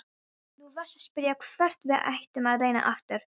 Þú varst að spyrja hvort við ættum að reyna aftur.